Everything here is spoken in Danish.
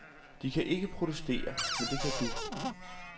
De kan ikke protestere, men det kan du.